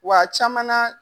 Wa a caman na